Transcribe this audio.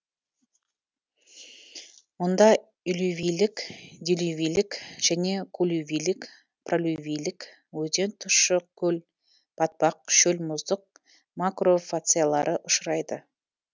мұнда элювийлік делювийлік және коллювийлік пролювийлік өзен тұщы көл батпақ шөл мұздық макрофациялары ұшырайды